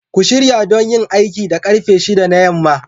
Ku shirya don yin aiki da karfe 6 na yamma